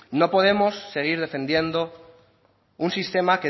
no podemos seguir defendiendo un sistema